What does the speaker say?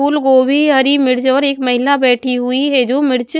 फूलगोभी हरीमिर्च और एक महिला बैठी हुई है जो मिर्च--